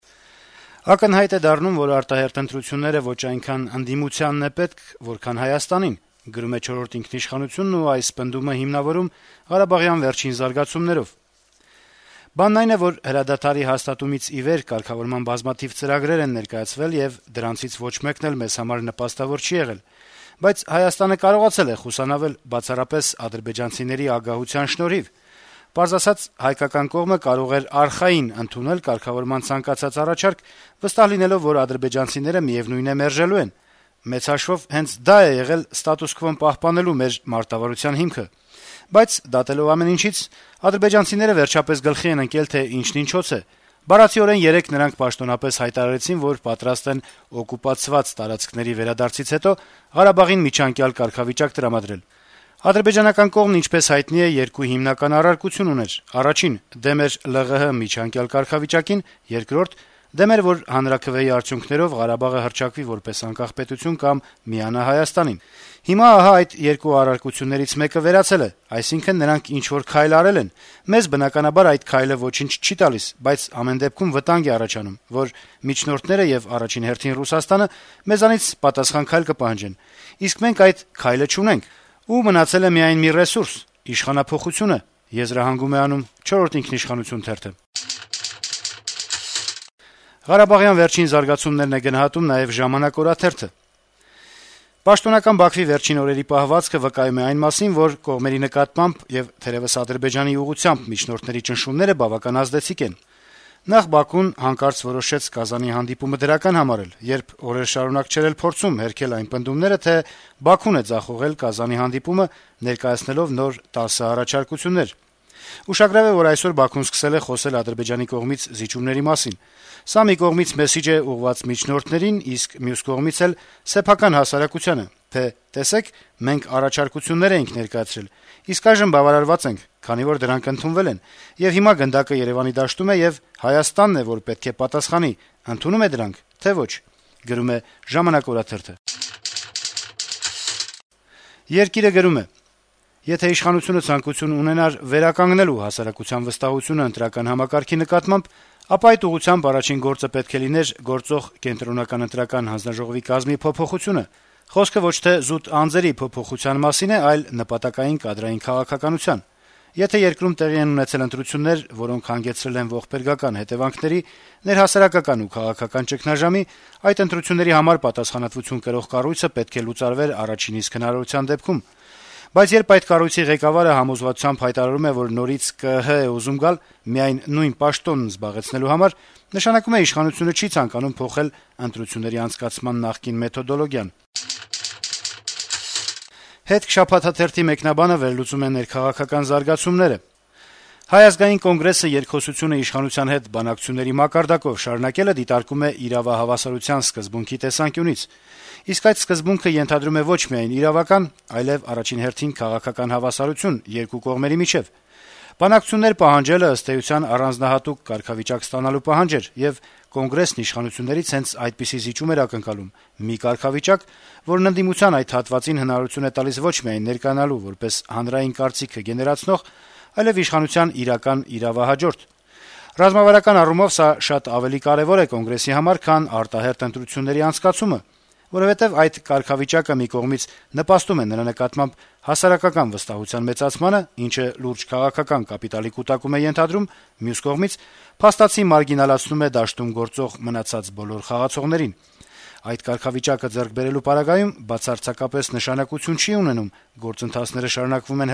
«Ակնհայտ է դառնում, որ արտահերթ ընտրությունները ոչ այնքան ընդդիմությանն է պետք, որքան Հայաստանին», - գրում է «Չորրորդ ինքնիշխանություն»-ը եւ այս պնդումը հիմնավորում ղարաբաղյան վերջին զարգացումներով. - «Բանն այն է, որ հրադադարի հաստատումից ի վեր կարգավորման բազմաթիվ ծրագրեր են ներկայացվել, եւ դրանցից ոչ մեկն էլ մեզ համար նպաստավոր չի եղել: Բայց Հայաստանը կարողացել է խուսանավել` բացառապես ադրբեջանցիների ագահության շնորհիվ: Պարզ ասած, հայկական կողմը կարող է «արխային» ընդունել կարգավորման ցանկացած առաջարկ` վստահ լինելով, որ ադրբեջանցիները, միեւնույն է, մերժելու են: Մեծ հաշվով` հենց դա է եղել ստատուս քվոն պահպանելու մեր մարտավարության հիմքը: Բայց դատելով ամեն ինչից` արդբեջանցիները վերջապես գլխի են ընկել, թե ինչն ինչոց է: Բառացիորեն երեկ նրանք պաշտոնապես հայտարարեցին, որ պատրաստ են «օկուպացված տարածքների» վերադարձից հետո Ղարաբաղին միջանկյալ կարգավիճակ տրամադրել… Ադրբեջանական կողմը, ինչպես հայտնի է, երկու հիմնական առարկություն ուներ: Առաջին` դեմ էր Լեռնային Ղարաբաղի միջանկյալ կարգավիճակին, երկրորդ` դեմ էր, որ հանրաքվեի արդյունքներով Ղարաբաղը հռչակվի որպես անկախ պետություն կամ միանա Հայաստանին: Հիմա ահա այդ երկու առարկություններից մեկը վերացել է, այսինքն` նրանք ինչ-որ քայլ արել են: Մեզ, բնականաբար, այդ «քայլը» ոչինչ չի տալիս, բայց ամեն դեպքում` վտանգ է առաջանում, որ միջնորդները (եւ առաջին հերթին Ռուսաստանը) մեզանից պատասխան քայլ կպահանջեն: Իսկ մենք այս քայլը չունենք… Ու մնացել է միայն մի ռեսուրս` իշխանափոխությունը»: Ղարաբաղյան վերջին զարգացումներն է գնահատում նաեւ «Ժամանակ» օրաթերթը. - «Պաշտոնական Բաքվի վերջին օրերի պահվածքը վկայում է այն մասին, որ կողմերի նկատմամբ, եւ թերեւս Ադրբեջանի ուղղությամբ միջնորդների ճնշումները բավական ազդեցիկ են: Նախ Բաքուն հանկարծակի որոշեց Կազանի հանդիպումը դրական համարել, երբ օրեր շարունակ չէր էլ փորձում հերքել այն պնդումները, թե Բաքուն է ձախողել Կազանի հանդիպումը` ներկայացնելով նոր տասը առաջարկություններ: Ուշագրավ է, որ այսօր Բաքուն սկսել է խոսել Ադրբեջանի կողմից զիջումների մասին: Սա մի կողմից մեսիջ է` ուղղված միջնորդներին, իսկ մյուս կողմից էլ` սեփական հասարակությանը` թե տեսեք, մենք առաջարկություններ էինք ներկայացրել, իսկ այժմ բավարարված ենք, քանի որ դրանք ընդունվել են, եւ հիմա գնդակը Երեւանի դաշտում է, եւ Հայաստանն է, որ պետք է պատասխանի` ընդունո՞ւմ է դրանք, թե՞ ոչ»: «Երկիր»-ը գրում է. - «Եթե իշխանությունը ցանկություն ունենար վերականգնելու հասարակության վստահությունը ընտրական համակարգի նկատմամբ, ապա այդ ուղղությամբ առաջին գործը պետք է լիներ գործող ԿԸՀ կազմի փոփոխությունը: Խոսքը ոչ թե զուտ անձերի փոփոխության մասին է, այլ նպատակային կադրային քաղաքականության: Եթե երկրում տեղի են ունեցել ընտրություններ, որոնք հանգեցրել են ողբերգական հետեւանքների, ներհասարակական ու քաղաքական ճգնաժամի, այդ ընտրությունների համար պատասխանատվություն կրող կառույցը պետք է լուծարվեր առաջին իսկ հնարավորության դեպքում: Բայց երբ այդ կառույցի ղեկավարը համոզվածությամբ հայտարարում է, որ նորից ԿԸՀ է ուզում գալ ` միայն նույն պաշտոնն զբաղեցնելու համար, նշանակում է իշխանությունը չի ցանկանում փոխել ընտրությունների անցկացման նախկին մեթոդոլոգիան»: «Հետք» շաբաթաթերթի մեկնաբանը վերլուծում է ներքաղաքական զարգացումները. - «Հայ ազգային կոնգրեսը երկխոսությունը իշխանության հետ բանակցությունների մակարդակով շարունակելը դիտարկում է իրավահավասարության սկզբունքի տեսանկյունից: Իսկ այդ սկզբունքը ենթադրում է ոչ միայն իրավական, այլեւ առաջին հերթին քաղաքական հավասարություն երկու կողմերի միջեւ: Բանակցություններ պահանջելը, ըստ էության, առանձնահատուկ կարգավիճակ ստանալու պահանջ էր, եւ Կոնգրեսն իշխանություններից հենց այդպիսի զիջում էր ակնկալում: Մի կարգավիճակ, որն ընդդիմության այդ հատվածին հնարավորություն է տալիս ոչ միայն ներկայանալու որպես հանրային կարծիքը գեներացնող, այլեւ իշխանության իրական «իրավահաջորդ»: Ռազմավարական առումով սա շատ ավելի կարեւոր է Կոնգրեսի համար, քան արտահերթ ընտրությունների անցկացումը: Որովհետեւ այդ կարգավիճակը մի կողմից նպաստում է նրա նկատմամբ հասարակական վստահության մեծացմանը, ինչը լուրջ քաղաքական կապիտալի կուտակում է ենթադրում, մյուս կողմից` փաստացի մարգինալացնում է դաշտում գործող մնացած բոլոր խաղացողներին: Այդ կարգավիճակը ձեռք բերելու պարագայում բացարձակապես նշանակություն չի ունենում` գործընթացները շարունակվում են